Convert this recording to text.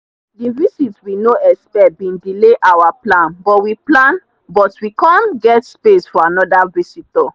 the visit we no expect bin delay our plan but we plan but we come get space for another visitor.